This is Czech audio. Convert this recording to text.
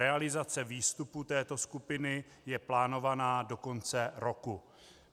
Realizace výstupu této skupiny je plánována do konce roku.